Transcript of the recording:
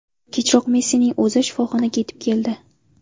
Kechroq Messining o‘zi shifoxonaga yetib keldi.